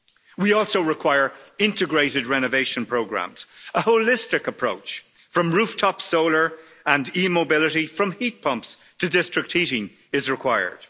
We also require integrated renovation programmes, a holistic approach from rooftop solar and e mobility, from heat pumps to district heating is required.